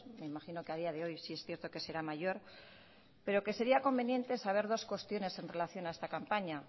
me imagino que a día de hoy sí es cierto que será mayor pero que sería conveniente saber dos cuestiones en relación a esta campaña